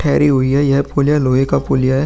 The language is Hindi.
ठहरी हुई है यह पुलिया लोहे का पुलिया है।